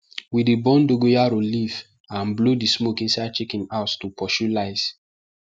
we dey burn dogoyaro leaf and blow the smoke inside chicken house to pursue lice